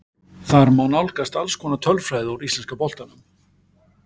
Þar má nálgast alls konar tölfræði úr íslenska boltanum.